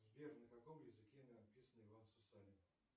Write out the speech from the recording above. сбер на каком языке написан иван сусанин